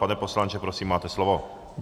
Pane poslanče, prosím, máte slovo.